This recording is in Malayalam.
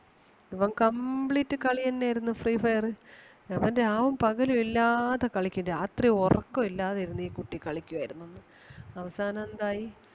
ഇവൻ complete കളി തന്നെ ആരുന്നു free fire അവൻ രാവും പകലും ഇല്ലാതെ കളിക്കും രാത്രി ഒറക്കം ഇല്ലാതെ ഇരുന്ന് ഈ കുട്ടി കളിക്കുവാരുന്നെന്ന്. അവസാനം എന്തായി